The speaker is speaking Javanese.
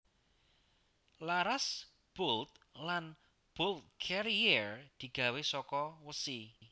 Laras bolt lan bolt carriere digawe saka wesi